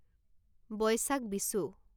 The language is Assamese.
বৈশাক বিচু